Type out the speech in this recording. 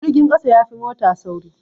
Jirgin ƙasa yafi mota sauri